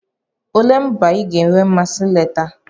Olee mba ị ga-enwe mmasị ileta?